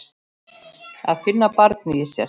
Að finna barnið í sér.